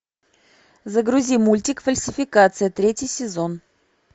загрузи мультик фальсификация третий сезон